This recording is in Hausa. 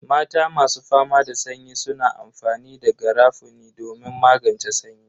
Mata masu fama da sanyi suna amfani da garafuni domin magance sanyi.